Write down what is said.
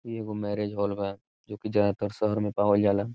इ एगो marriage hall बा जो कि ज्यादातर शहर में पावल जाला।